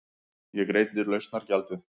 Ég greiddi lausnargjaldið.